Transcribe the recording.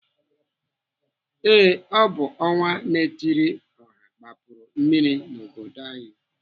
Ee, ọ bụ ọnwa-na-etiri-ọha gbapuru mmiri n'obodo anyị.